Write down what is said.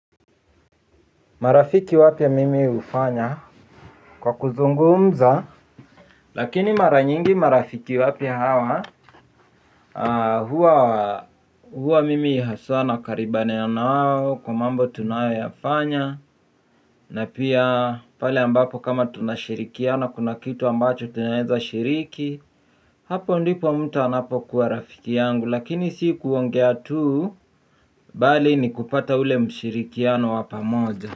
Marafiki wapya mimi hufanya kwa kuzungumza. Lakini mara nyingi marafiki wapya hawa hua mimi haswa nakaribane ya nao kwa mambo tunayo yafanya. Na pia pale ambapo kama tunashirikiana kuna kitu ambacho tunaeza shiriki. Hapo ndipo mtu anapokuwa rafiki yangu. Lakini si kuongea tuu bali ni kupata ule mshirikiano wa pamoja.